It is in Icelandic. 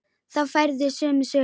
Þá færðu sömu söguna.